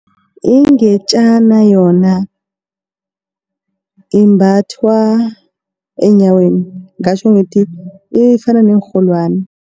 Ingetjana yona imbathwa eenyaweni ngingatjho ngithi ifana neenrholwani.